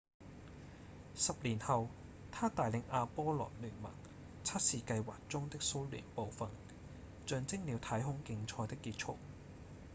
10年後他帶領阿波羅-聯盟測試計劃中的蘇聯部份象徵了太空競賽的結束